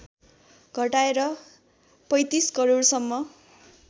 घटाएर ३५ करोडसम्म